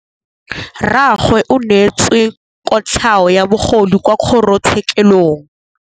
Rragwe o neetswe kotlhaô ya bogodu kwa kgoro tshêkêlông.